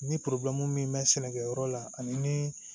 Ni min mɛ sɛnɛkɛyɔrɔ la ani